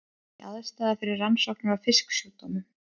Ný aðstaða fyrir rannsóknir á fisksjúkdómum